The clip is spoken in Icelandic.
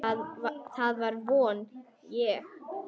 Það vona ég